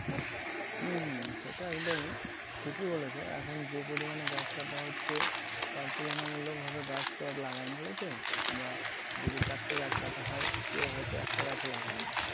হম সেটা একদমই। ঠিকই বলেছো এখন যে পরিমানে গাছ কাঁটা হচ্ছে টা তুলনা মুলকভাবে গাছ তো আর লাগায় না লোকে বা যদি চারটে গাছ কাঁটা হয় কাও হয়তো একটা গাছ ও লাগায় না।